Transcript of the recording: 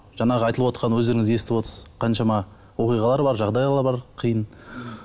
жаңағы айтылывотқан өздеріңіз естіп отырсыз қаншама оқиғалар бар жағдайлар бар қиын